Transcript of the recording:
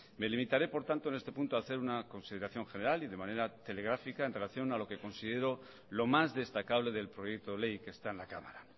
me limitaré por tanto en este punto a hacer una consideración general y de la manera telegráfica en relación a lo que considero lo más destacable del proyecto de ley que está en la cámara